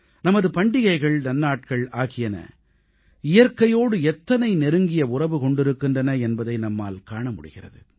நமது பண்டிகைகள் நன்னாட்கள் ஆகியன இயற்கையோடு எத்தனை நெருங்கிய உறவு கொண்டிருக்கின்றன என்பதை நம்மால் காண முடிகிறது